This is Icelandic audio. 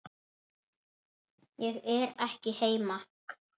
Ég er ekki heima